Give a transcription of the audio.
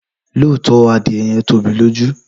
Lọtọ, adìe yẹn tobi lójú.